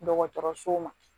Dɔgɔtɔrɔsow ma